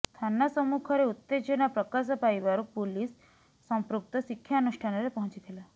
ଥାନା ସମ୍ମୁଖରେ ଉତ୍ତେଜନା ପ୍ରକାଶ ପାଇବାରୁ ପୁଲିସ୍ ସମ୍ପୃକ୍ତ ଶିକ୍ଷାନୁଷ୍ଠାନରେ ପହଞ୍ଚିଥିଲା